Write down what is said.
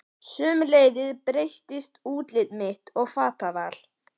Sömuleiðis breyttist útlit mitt og fataval.